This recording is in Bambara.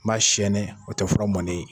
N b'a sɛɛnɛ, o te fura mɔnnen ye.